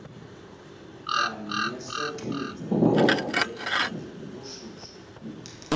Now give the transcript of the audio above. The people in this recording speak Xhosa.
kwanesoxinzelelo lwegazi ubushushu